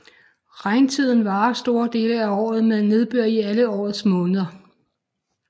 Regntiden varer store dele af året med nedbør i alle årets måneder